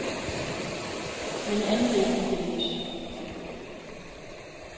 Men i anden del gik det løs.